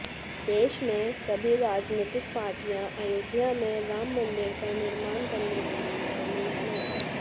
देश में सभी राजनीतिक पार्टियां अयोध्या में राममंदिर का निर्माण करने के लिए कानून बनाएं